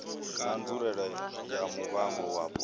na nzulele ya muvhango wapo